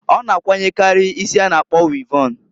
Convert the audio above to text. Ọ na akwanyekari isi a na- akpọ wịvọn.